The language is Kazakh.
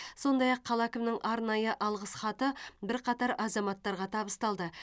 сондай ақ қала әкімінің арнайы алғыс хаты бірқатар азаматтарға табысталды